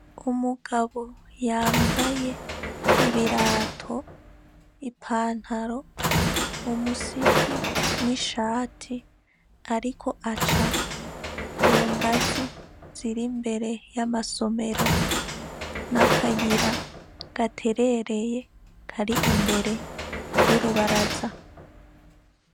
Umugabo yambaye ibirato, ipantaro, umusipi, n'ishati, ariko aca ku ngazi ziri imbere y'amasomero n'akayira gaterereye kari imbere y'urubaraza.